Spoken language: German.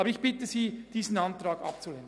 Ich bitte Sie, diesen Antrag abzulehnen.